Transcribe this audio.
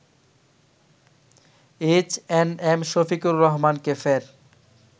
H&M Shafiqur রহমানকে ফের